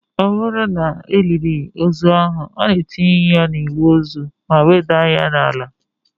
Ọ bụrụ na e liri ozu ahụ, a na-etinye ya na igbe ozu ma wedata ya n'ala